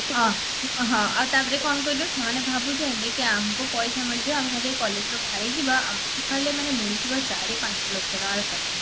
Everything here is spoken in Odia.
ହଁ ହଁ ଆଉ ତାପରେ କଣ କହିଲୁ ସେମାନେ ଭାବୁଚନ୍ତି କି ଆମକୁ ପଇସା ମିଳିଯିବା ଆମେ ଖାଲି ଏଇ collegeରୁ ବାହାରିଯିବା ଆମକୁ ମାନେ ଖାଲି ମିଳିଯିବା ଚାରି ପାଞ୍ଚ ଲକ୍ଷ ଟଙ୍କାର ଚାକିରୀ